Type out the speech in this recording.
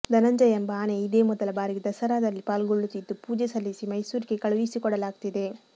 ಧನಂಜಯ ಎಂಬ ಆನೆ ಇದೇ ಮೊದಲ ಬಾರಿಗೆ ದಸರಾದಲ್ಲಿ ಪಾಲ್ಗೊಳ್ಳುತ್ತಿದ್ದು ಪೂಜೆ ಸಲ್ಲಿಸಿ ಮೈಸೂರಿಗೆ ಕಳುಹಿಸಿಕೊಡಲಾಗ್ತಿದೆ